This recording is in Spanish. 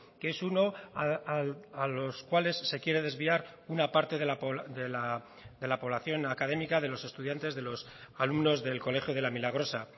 que es uno a los cuales se quiere desviar una parte de la población académica de los estudiantes de los alumnos del colegio de la milagrosa